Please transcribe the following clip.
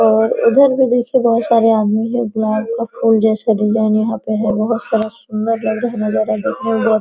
और इधर भी देखिये बहुत सारे आदमी है गुलाब का फूल जैसा डिज़ाइन है यहाँ पर है बहुत सारा सुन्दर लग रहा है नजारा देखने मे --